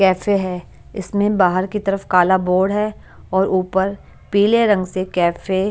cafe है इसमें बाहर की तरफ काला बोर्ड है और ऊपर पीले रंग से कैफे --